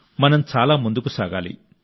మనం చాలా ముందుకు సాగాలి